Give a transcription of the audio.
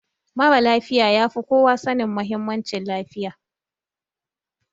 Marasa lafiya ya fi kowa sanin muhimmancin lafiya